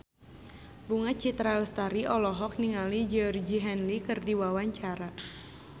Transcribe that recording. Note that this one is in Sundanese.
Bunga Citra Lestari olohok ningali Georgie Henley keur diwawancara